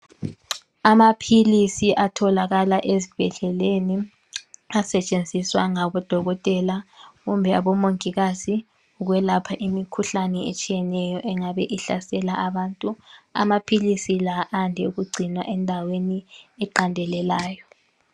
Amaphilisi atholakala ezibhedleleni ,asetshenziswa ngabodokotela kumbe abomongikazi, ukwelapha imikhuhlane etshiyeneyo engabe ihlasela abantu. Amaphilisi la ande ukugcinwa endaweni eqandelelayo.